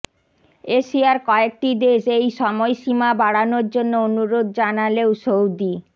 এশিয়ার কয়েকটি দেশ এই সময়সীমা বাড়ানোর জন্য অনুরোধ জানালেও সৌদি